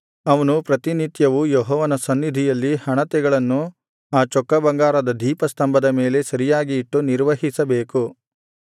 ಅವನು ಪ್ರತಿನಿತ್ಯವೂ ಯೆಹೋವನ ಸನ್ನಿಧಿಯಲ್ಲಿ ಹಣತೆಗಳನ್ನು ಆ ಚೊಕ್ಕಬಂಗಾರದ ದೀಪಸ್ತಂಭದ ಮೇಲೆ ಸರಿಯಾಗಿ ಇಟ್ಟು ನಿರ್ವಹಿಸಬೇಕು